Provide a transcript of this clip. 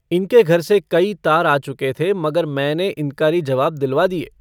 इनके घर से कई तार आ चुके थे मगर मैंने इन्कारी जवाब दिलवा दिए।